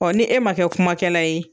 Ɔ ni e ma kɛ kumakɛla ye.